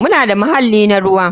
Muna da muhalli na ruwa.